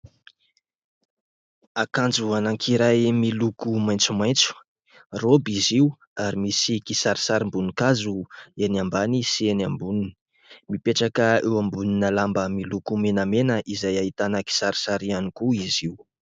Akanjo anankiray miloko maitsomaitso : raoby izy io ary misy kisarisarim-boninkazo eny ambany sy eny amboniny. Mipetraka eo ambonina lamba miloko menamena izay ahitana kisarisary ihany koa izy io.